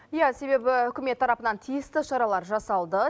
иә себебі үкімет тарапынан тиісті шаралар жасалды